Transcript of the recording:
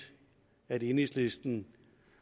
at enhedslisten